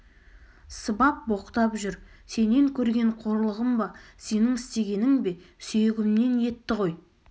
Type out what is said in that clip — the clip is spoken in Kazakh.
сыбап боқтап жүр сенен көрген қорлығым ба сенің істегенің бе сүйегімнен етті ғой